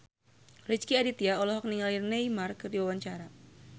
Rezky Aditya olohok ningali Neymar keur diwawancara